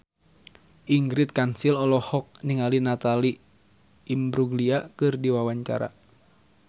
Ingrid Kansil olohok ningali Natalie Imbruglia keur diwawancara